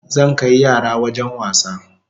Zan kai yara wajen wasa